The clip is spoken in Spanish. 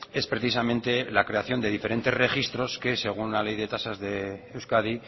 es precisamente la creación de diferentes registro que según la ley de tasas de euskadi